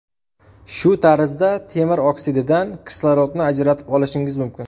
Shu tarzda temir oksididan kislorodni ajratib olishingiz mumkin ”.